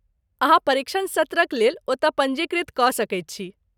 अहाँ परीक्षण सत्रक लेल ओतय पञ्जीकृत कऽ सकैत छी।